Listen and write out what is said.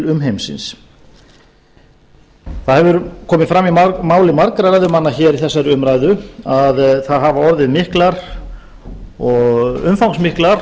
umheimsins það hefur komið fram í máli margra ræðumanna í þessari umræðu að það hafa orðið umfangsmiklar